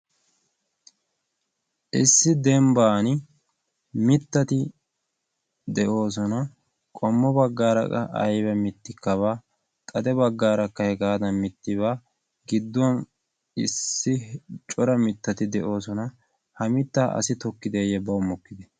issi dembban mittati de'oosona qommo baggaaraa ayba mittikka baa xade baggaarakka hegaadan mitti baa gidduwan issi cora mittati de'oosona ha mittaa asi tokkideeyye baw mokkide